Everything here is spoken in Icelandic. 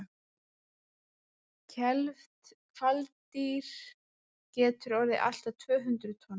kelfd hvalkýr getur orðið allt að tvö hundruð tonn